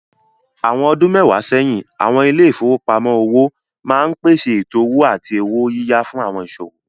Àwọn ọdún mẹ́wàá sẹ́yìn, àwọn ilé ìfowópamọ́ òwò máa ń pèsè ètò owó àti owó yíyá fún àwọn ìsòwò.